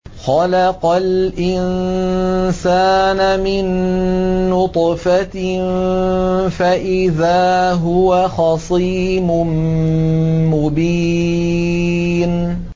خَلَقَ الْإِنسَانَ مِن نُّطْفَةٍ فَإِذَا هُوَ خَصِيمٌ مُّبِينٌ